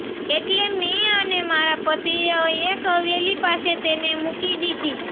એટલે મેં અને મારા પતિએ એક હવેલી પાસે તેને મૂકી દીધી